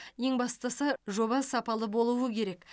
ең бастысы жоба сапалы болуы керек